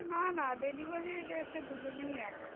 না না delivery র এতে দুজনেই এক।